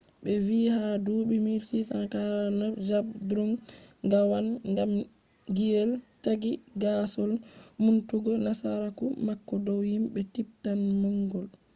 be vii ha dubi 1649,zhabdrung ngawang namgyel ,taaggi gaasol numtugo nasaraku mako dow himbe tibetan-mongol